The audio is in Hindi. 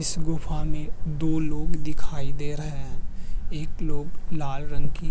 इस गुफा में दो लोग दिखाई दे रहे हैं। एक लोग लाल रंग की --